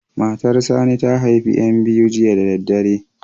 Matar Sani ta haifi ƴan biyu jiya da daddare.